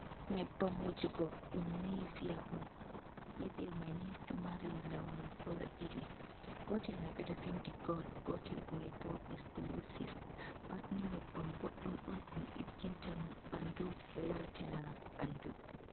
Nyebbam wujugo ɗum niviya on. Niviya mai ni ɗo mari launu kala ɗiɗi. Gotel mai ɓe ɗo vindi gol gotel mai bo ekskulusif. Pat ni nyebbam boddum on. Ɗum ɗo digginna ɓandu waltina ɓandu..